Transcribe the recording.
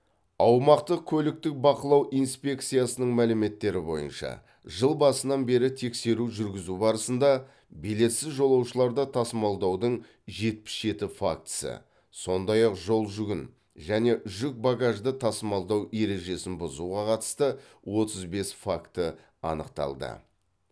аумақтық көліктік бақылау инспекциясының мәліметтері бойынша жыл басынан бері тексеру жүргізу барысында билетсіз жолаушыларды тасымалдаудың жетпіс жеті фактісі сондай ақ жолжүгін және жүк багажды тасымалдау ережесін бұзуға қатысты отыз бес факті анықталды